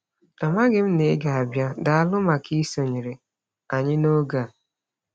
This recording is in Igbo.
Amaghị m na ị ga-abịa - Daalụ maka isonyere anyị n'oge a.